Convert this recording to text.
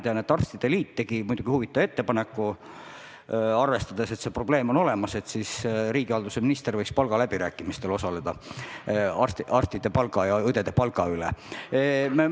Tean, et arstide liit tegi probleemi olemasolu arvestades huvitava ettepaneku: riigihalduse minister võiks osaleda palgaläbirääkimistel arstide ja õdede töötasu üle.